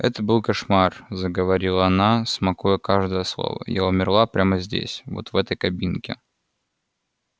это был кошмар заговорила она смакуя каждое слово я умерла прямо здесь вот в этой кабинке